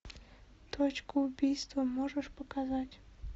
точку убийства можешь показать